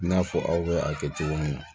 I n'a fɔ aw bɛ a kɛ cogo min na